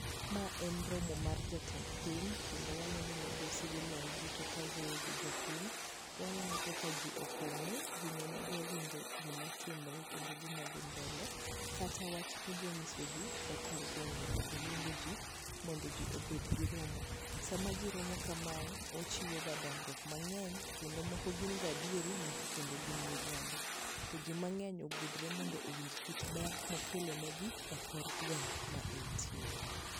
ma en romo mar jatend piny kendo waneno migosi Wiliam Ruto ka wuoyo gi jopiny, waneno kaka ji oponge ji dwaro winjo gima timore kendo gima dhi mbele kata wach modwa nyiso ji e kor gwenge moluongo ji ,mondo ji obed gi romo, sam ji romo kamae ochiwo ga dongruok mangeny kendo moko gin ga adiero kendo moko gin mirimabo to ji mangeny ogudre mondo owinj kit ber mokelo ni gi e kor gweng ma en tiere.